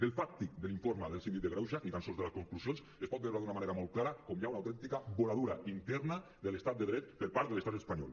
del fàctic de l’informe del síndic de greuges ni tan sols de les conclusions es pot veure d’una manera molt clara com hi ha una autèntica voladura interna de l’estat de dret per part de l’estat espanyol